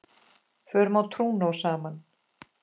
Fórum á trúnó saman.